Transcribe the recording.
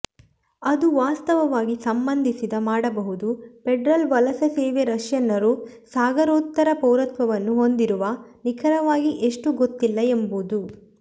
ಅದು ವಾಸ್ತವವಾಗಿ ಸಂಬಂಧಿಸಿದ ಮಾಡಬಹುದು ಫೆಡರಲ್ ವಲಸೆ ಸೇವೆ ರಷ್ಯನ್ನರು ಸಾಗರೋತ್ತರ ಪೌರತ್ವವನ್ನು ಹೊಂದಿರುವ ನಿಖರವಾಗಿ ಎಷ್ಟು ಗೊತ್ತಿಲ್ಲ ಎಂಬುದು